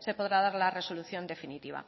se podrá dar la resolución definitiva